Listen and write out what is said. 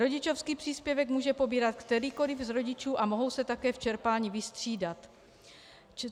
Rodičovský příspěvek může pobírat kterýkoli z rodičů a mohou se také v čerpání vystřídat.